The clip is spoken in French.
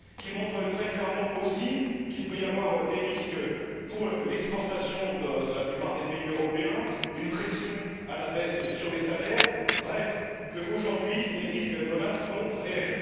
Ces études montrent très clairement aussi qu'il peut y avoir des risques pour les exportations de la plupart des pays européens et une pression à la baisse sur les salaires, bref, qu'aujourd'hui les risques et les menaces sont réels.